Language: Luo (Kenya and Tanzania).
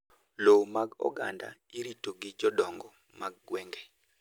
Lowo mag oganda irito gi jodongo mag gwenge.